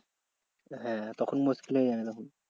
হ্যাঁ তখন মুশকিল হয়ে যাবে তখন।